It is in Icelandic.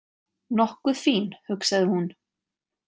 Nokkuð fín, hugsaði hún.